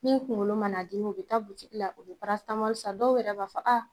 Min kunkolo man'a dimi , o bɛ taa butigi la, o bɛ san, dɔw yɛrɛ bɛ fɛ ko aa!